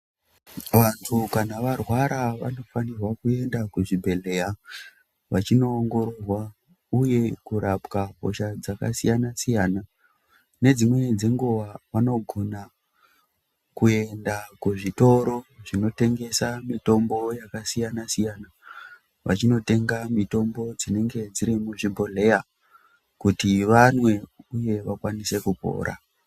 Vantu kana varwara vanofanirwa kuenda kuzvibhedhleya vachinoongororwa, uye kurapwa hosha dzakasiyana-siyana. Nedzimweni dzenguva vanogona kuenda kuzvitoro zvinotengesa mitombo yakasiyana-siyana, vachinotenga mitombo dzinenge dziri muzvibhodhleya kuti vanwe, uye vakwanise kupora.